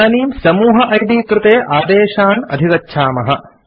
इदानीं समूह इद् कृते आदेशान् अधिगच्छामः